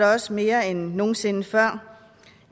også mere end nogen sinde før